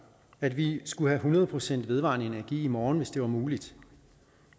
at vi skulle have hundrede procent vedvarende energi i morgen hvis det var muligt